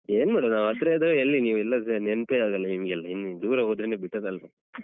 ಏನ್ಮಾಡನಾ ನಾವ್ ಹತ್ರ ಇದ್ರೆ ಎಲ್ಲಿ ನೀವ್ ನೆನ್ಪೇ ಆಗಲ್ಲ ನಿಮ್ಗೆಲ್ಲ ಇನ್ನು ದೂರ ಹೋದ್ರೇನೆ better ಅಲ್ವಾ